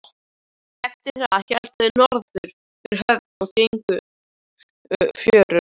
Eftir það héldu þeir norður fyrir höfnina og gengu fjörur.